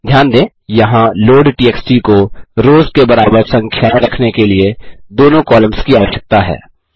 ध्यान दें यहाँ लोडटीएक्सटी को रोस की बराबर संख्याएँ रखने के लिए दोनों कॉलम्स की आवश्यकता है